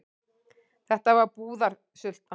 Þetta var búðarsulta.